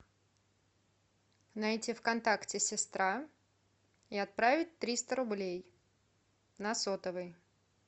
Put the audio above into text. найти в контакте сестра и отправить триста рублей на сотовый